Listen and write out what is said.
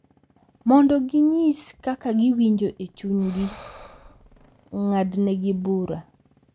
Mondo ginyis kaka giwinjo e chunygi, ng’adnegi bura,